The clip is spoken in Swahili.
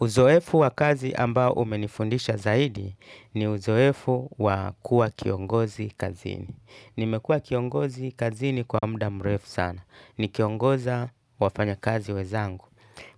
Uzoefu wa kazi ambao umenifundisha zaidi ni uzoefu wa kuwa kiongozi kazini. Nimekuwa kiongozi kazini kwa muda mrefu sana. Nikiongoza wafanya kazi wenzangu